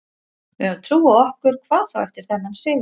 Við höfum trú á okkur, hvað þá eftir þennan sigur.